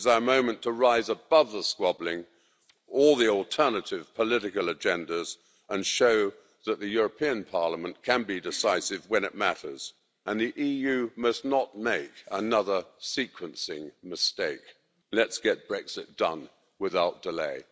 This is our moment to rise above the squabbling, all the alternative political agendas and show that the European Parliament can be decisive when it matters. The EU must not make another sequencing mistake. Let's get Brexit done without delay.